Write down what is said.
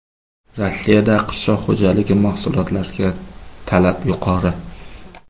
Rossiyada qishloq xo‘jaligi mahsulotlariga talab yuqori.